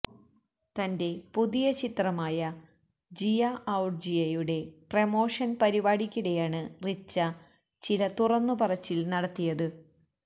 തന്റെ പുതിയ ചിത്രമായ ജിയാ ഔർ ജിയയുടെ പ്രമോഷൻ പരിപാടിക്കിടെയാണ് റിച്ച ചില തുറന്നു പറച്ചിൽ നടത്തിയത്